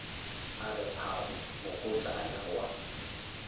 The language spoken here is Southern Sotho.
a re phamo mokotlana wa